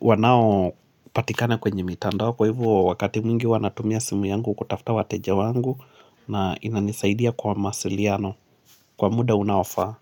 wanao patikane kwenye mitandao kwa hivyo wakati mwingi natumia simu yangu kutafta wateja wangu na inanisaidia kwa masiliano kwa muda unaofaa.